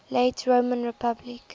late roman republic